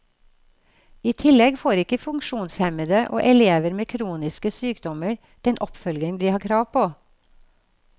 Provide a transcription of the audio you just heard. I tillegg får ikke funksjonshemmede og elever med kroniske sykdommer den oppfølging de har krav på.